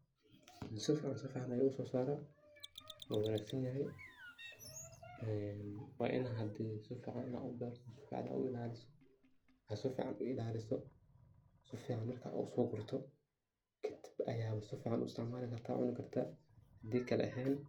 Si fican ayey uso saraa waa wanag sanyahay waa ina hadi si fiacn ina u berto oo si fican u ilaliso aad si fican aa u ilaliso, si fican marka aa uso gurto kadib ayaa si fican u isticmali karta cuni kartaa hadi kale ehen .